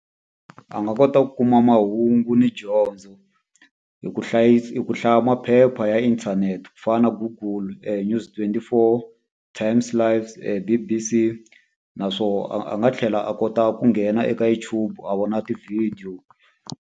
A nga kota ku kuma mahungu ni dyondzo hi ku hi ku hlaya maphepha ya inthanete ku fana na Google, News24, TimesLIVE, D_B_C. Naswona a a nga tlhela a kota ku nghena eka YouTube u vona tivhidiyo.